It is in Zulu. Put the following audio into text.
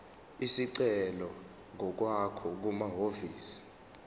isicelo ngokwakho kumahhovisi